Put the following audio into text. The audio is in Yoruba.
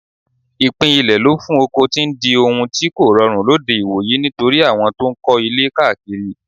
Ìpín ilẹ̀ lò fún oko ti ń di ohun tí kòrọrùn lóde ìwòyí nítorí àwọn tó ń kọ́ ilé káàkiri.